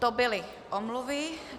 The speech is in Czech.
To byly omluvy.